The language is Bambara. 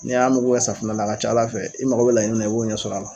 N'i y'a muku kɛ safunɛ na, a ka ca Ala fɛ, i mago bɛ laɲini mun na, i b'o sɔrɔ kɔnɔ